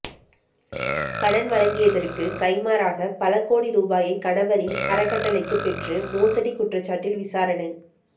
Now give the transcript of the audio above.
கடன் வழங்கியதற்கு கைமாறாக பல கோடி ரூபாயை கணவரின் அறக்கட்டளைக்கு பெற்று மோசடி குற்றச்சாட்டில் விசாரணை